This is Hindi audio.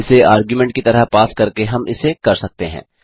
इसे आर्ग्युमेंट की तरह पास करके हम इसे कर सकते हैं